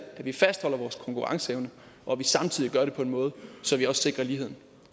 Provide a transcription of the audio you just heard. at vi fastholder vores konkurrenceevne og at vi samtidig gør det på en måde så vi også sikrer lighed